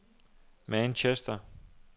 Manchester